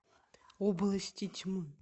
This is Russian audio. области тьмы